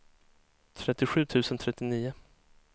trettiosju tusen trettionio